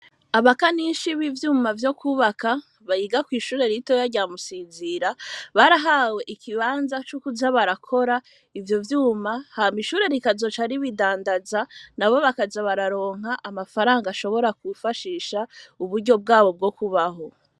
Abaka ninshi b'ivyuma vyo kubaka bayiga kw'ishure ritoya ryamusinzira barahawe ikibanza c'ukuza barakora ivyo vyuma ha maishure rikazoca ari bidandaza na bo bakaza bararonka amafaranga ashobora kufashisha uburyo bwabo bwo kubaho.